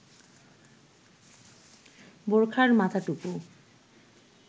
বোরখার মাথাটুকু